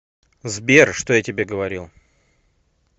сбер что я тебе говорил